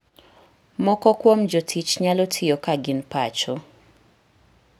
Moko kuom jotich nyalo tiyo ka gin pacho.